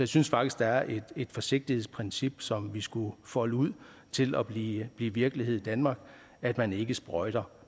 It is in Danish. synes faktisk der er et forsigtighedsprincip som vi skulle folde ud til at blive blive virkelighed i danmark at man ikke sprøjter